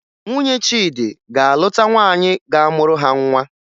Nwunye Chidi ga-alụta nwaanyị ga-amụrụ ha nwa